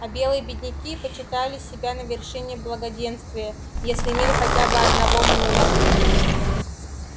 а белые бедняки почитали себя на вершине благоденствия если имели хотя бы одного мула